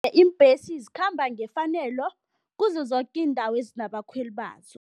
Iimbhesi zikhamba ngefanelo kuzo zoke iindawo ezinabakhweli bazo.